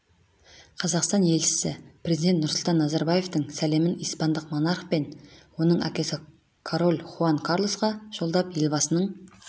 қазақстан елшісі президент нұрсұлтан назарбаевтың сәлемін испандық монарх пен оның әкесі король хуан карлосқа жолдап елбасының